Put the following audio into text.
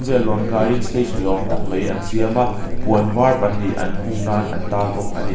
lawn kaiin stage ni awm tak mai an siam a puan var pahnih an hung nan an tar bawk a ni.